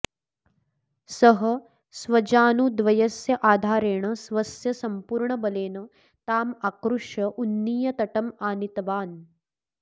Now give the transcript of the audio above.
सः स्वजानुद्वयस्य आधारेण स्वस्य सम्पूर्णबलेन ताम् आकृष्य उन्नीय तटम् आनीतवान्